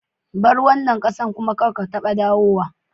Bar wanan kasan kuma kadda ka taba dawowa!